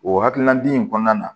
O hakilina di in kɔnɔna na